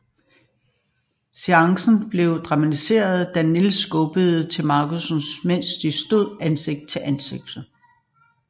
Seancen blev dramatisk da Nielsen skubbede til Markussen mens de stod ansigt til ansigt